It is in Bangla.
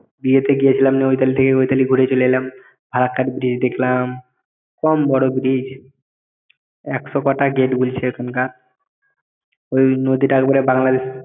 বিয়েতে গিয়েছিলাম ওইতালি থেকে ওইতালি ঘুরে চলে এলাম ফারাক্কার bridge দেখলাম কম বড় bridge একশো পাটাই গেট বুলছে ওখানকার ওই নদীটা একবারে বাংলাদেশ